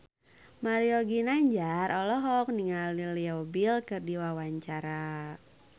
Mario Ginanjar olohok ningali Leo Bill keur diwawancara